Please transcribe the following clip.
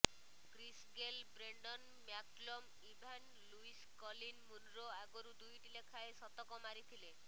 Chris Gayle Brendon McCullum Evan Lewis Colin Munro ଆଗରୁ ଦୁଇଟି ଲେଖାଏଁ ଶତକ ମାରିଥିଲେ